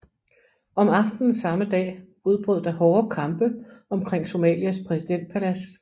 Om aftenen samme dag udbrød der hårde kampe omkring Somalias præsidentpalads